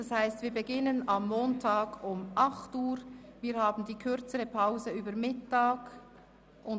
Das heisst, wir beginnen am Montag um 8.00 Uhr, und wir haben kürzere Mittagspausen.